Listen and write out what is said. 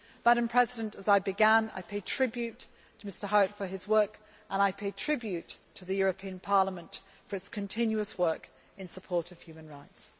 To end as I began, I pay tribute to Mr Howitt for his work and I pay tribute to the European Parliament for its continuous work in support of human rights.